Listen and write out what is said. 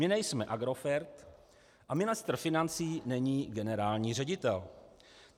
My nejsme Agrofert a ministr financí není generální ředitel.